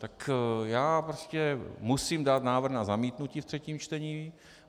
Tak já prostě musím dát návrh na zamítnutí ve třetím čtení.